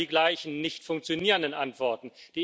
Es sind immer die gleichen nicht funktionierenden Antworten.